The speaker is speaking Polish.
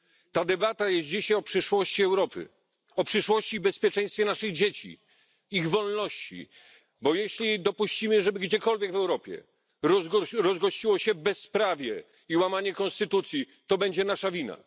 Ta debata jest dzisiaj o przyszłości Europy, o przyszłości i bezpieczeństwie naszych dzieci, ich wolności, bo jeśli dopuścimy, żeby gdziekolwiek w Europie rozgościło się bezprawie i łamanie konstytucji, to będzie nasza wina.